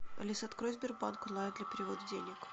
алиса открой сбербанк онлайн для перевода денег